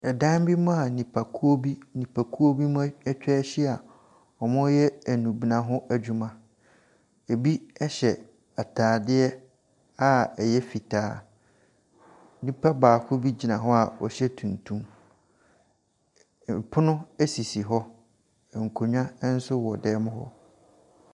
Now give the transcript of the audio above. Ɛdan bi mu a nnipakuo bi nnipakuo bi ɛtwahyia ɛreyɛ nnubɛna ho adwuma. Ebi ɛhyɛ ataadeɛ a ɛyɛ fitaa. Nnipa baako bi gyina hɔ a ɔhyɛ tuntum. Ɛpono esisi hɔ. Nkonnwa ɛnso wɔ dɛɛm mu ho.